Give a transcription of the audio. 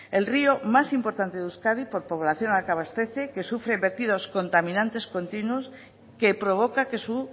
el río más importante de euskadi por población a la que abastece que sufre vertidos contaminantes continuos que provoca que su